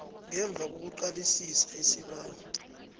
ngemva kokuqalisisa isibawo